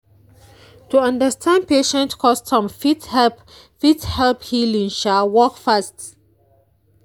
to understand patient custom fit help fit help healing um work fast.